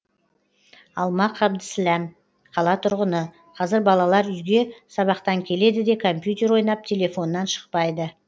алма қабдісләм қала тұрғыны қазір балалар үйге сабақтан келеді де компьютер ойнап телефоннан шықпайды